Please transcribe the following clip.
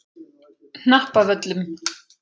Hnappavöllum